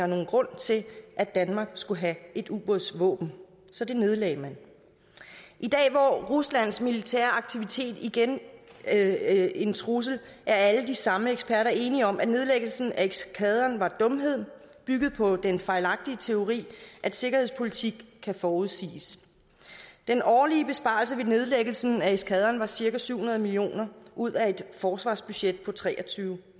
nogen grund til at danmark skulle have et ubådsvåben så det nedlagde man i dag hvor ruslands militære aktivitet igen er en trussel er alle de samme eksperter enige om at nedlæggelsen af eskadren var en dumhed bygget på den fejlagtige teori at sikkerhedspolitik kan forudses den årlige besparelse ved nedlæggelsen af eskadren var cirka syv hundrede million kroner ud af et forsvarsbudget på tre og tyve